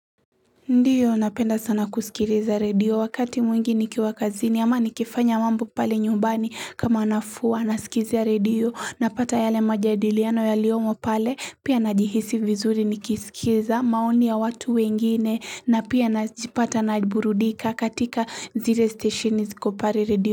Ndiyo napenda sana kusikiriza radio wakati mwingi nikiwa kazini ama nikifanya mambo pale nyumbani kama nafua nasikizia radio napata yale majadiliano yaliomo pale pia najihisi vizuri nikisikiza maoni ya watu wengine na pia najipata na burudika katika zire steshini ziko pare radio.